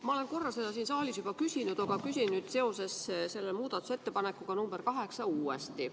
Ma olen seda korra siin saalis juba küsinud, aga küsin seoses muudatusettepanekuga nr 8 uuesti.